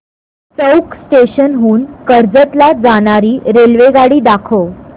चौक station हून कर्जत ला जाणारी रेल्वेगाडी दाखव